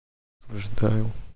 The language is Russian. ожидаю